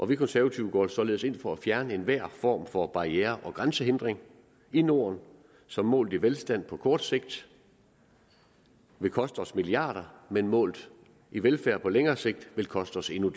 vi konservative går således ind for at fjerne enhver form for barriere og grænsehindring i norden som målt i velstand på kort sigt vil koste os milliarder af kroner men målt i velfærd på længere sigt vil koste os endnu